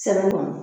Sɛbɛn kɔnɔ